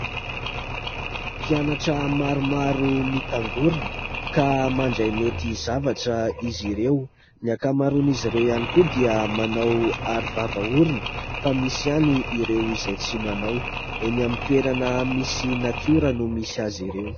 Mpianatra maromaro mitangorina ka mandray naoty zavatra izy ireo, ny ankamaron'izy ireo ihany koa dia manao aro vava orona fa misy ihany ireo izay tsy manao, eny amin'ny toerana misy natiora no misy azy ireo.